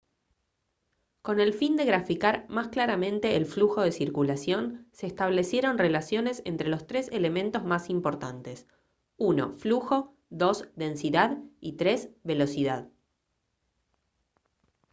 con el fin de graficar más claramente el flujo de circulación se establecieron relaciones entre los tres elementos más importantes: 1 flujo 2 densidad y 3 velocidad